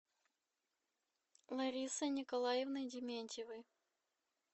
ларисой николаевной дементьевой